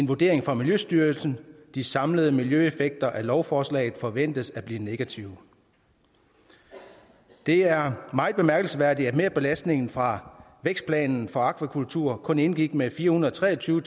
vurderingen fra miljøstyrelsen at de samlede miljøeffekter af lovforslaget forventes at blive negative det er meget bemærkelsesværdigt at merbelastningen fra vækstplanen for akvakultur kun indgik med fire hundrede og tre og tyve